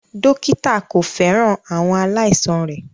Dókítà kò fẹ́ràn àwọn aláìsàn rẹ̀